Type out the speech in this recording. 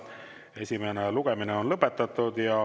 Esimene lugemine on lõpetatud.